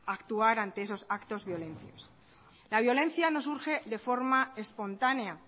actuar ante esos actos violentos la violencia no surge de forma espontánea